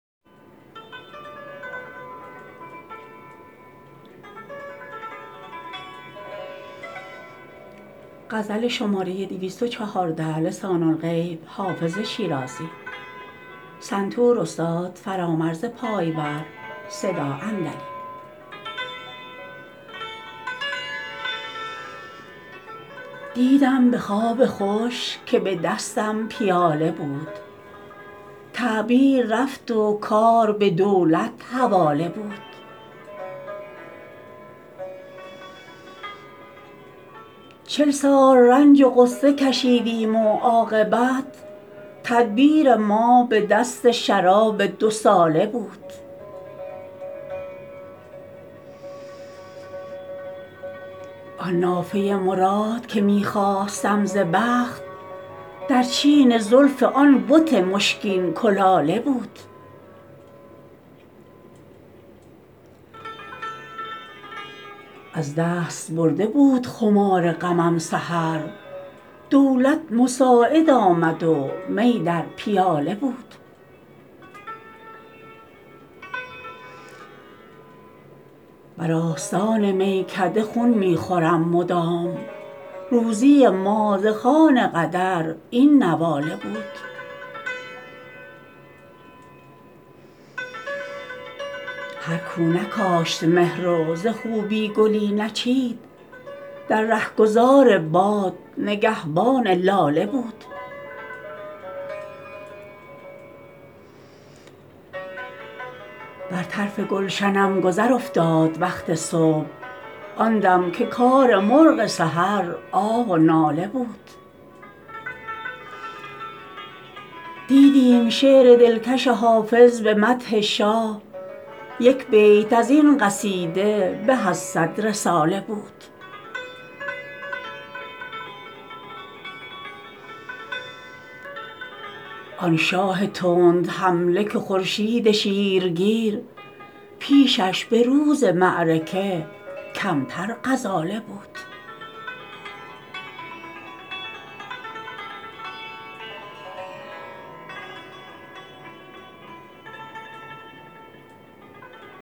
دیدم به خواب خوش که به دستم پیاله بود تعبیر رفت و کار به دولت حواله بود چل سال رنج و غصه کشیدیم و عاقبت تدبیر ما به دست شراب دوساله بود آن نافه مراد که می خواستم ز بخت در چین زلف آن بت مشکین کلاله بود از دست برده بود خمار غمم سحر دولت مساعد آمد و می در پیاله بود بر آستان میکده خون می خورم مدام روزی ما ز خوان قدر این نواله بود هر کو نکاشت مهر و ز خوبی گلی نچید در رهگذار باد نگهبان لاله بود بر طرف گلشنم گذر افتاد وقت صبح آن دم که کار مرغ سحر آه و ناله بود دیدیم شعر دلکش حافظ به مدح شاه یک بیت از این قصیده به از صد رساله بود آن شاه تندحمله که خورشید شیرگیر پیشش به روز معرکه کمتر غزاله بود